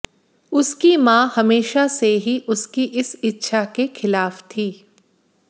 उसकी मां हमेशा से ही उसकी इस इच्छा के खिलाफ थी